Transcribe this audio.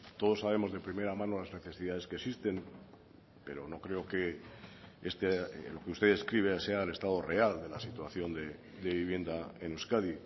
todos sabemos de primera mano las necesidades que existen pero no creo que lo que usted describe sea el estado real de la situación de vivienda en euskadi